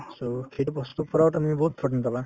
so, সেইটো বস্তুৰ পৰাও তুমি বহুত protein পাবা